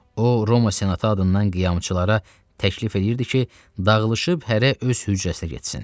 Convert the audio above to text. O, Roma senatı adından qiyamçılara təklif eləyirdi ki, dağılışıb hərə öz hücrəsinə getsin.